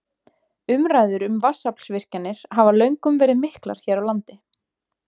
Umræður um vatnsaflsvirkjanir hafa löngum verið miklar hér á landi.